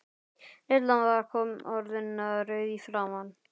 Lilla var orðin rauð í framan.